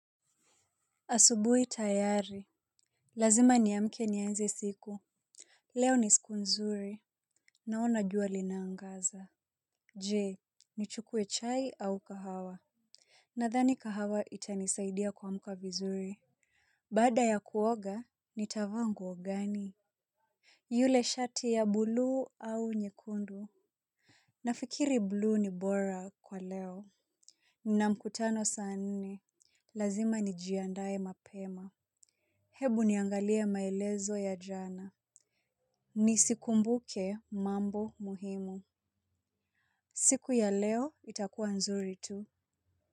Asubui tayari. Lazima niamke nianze siku. Leo ni siku nzuri. Naona jua linaangaza. Je nichukue chai au kahawa. Nadhani kahawa itanisaidia kuamka vizuri. Baada ya kuoga nitavaa nguo gani. Yule shati ya buluu au nyekundu. Nafikiri buluu ni bora kwa leo na mkutano saa nne. Lazima nijiandae mapema. Hebu niangalie maelezo ya jana. Nisikumbuke mambo muhimu. Siku ya leo itakuwa nzuri tu.